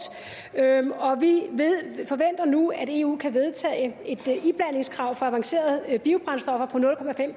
og vi forventer nu at eu kan vedtage et iblandingskrav for avancerede biobrændstoffer på nul